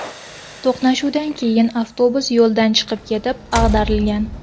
To‘qnashuvdan keyin avtobus yo‘ldan chiqib ketib, ag‘darilgan.